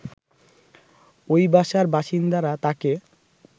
ওই বাসার বাসিন্দারা তাকে